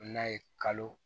N'a ye kalo